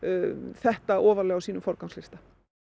þetta ofarlega á sínum forgangslista